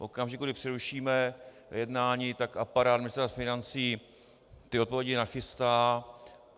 V okamžiku, kdy přerušíme jednání, tak aparát Ministerstva financí ty odpovědi nachystá.